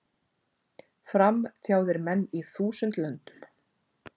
Fram, þjáðir menn í þúsund löndum,